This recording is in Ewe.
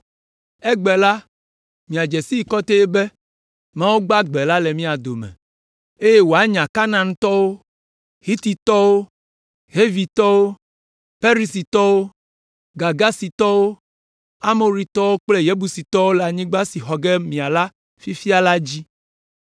Egbe la, miadze sii kɔtɛe be Mawu gbagbe la le mia dome, eye wòanya Kanaantɔwo, Hititɔwo, Hivitɔwo, Perizitɔwo, Girgasitɔwo, Amoritɔwo, kple Yebusitɔwo le anyigba si xɔ ge míala fifia la dzi.